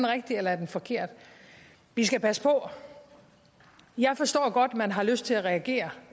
rigtig eller forkert vi skal passe på jeg forstår godt at man har lyst til at reagere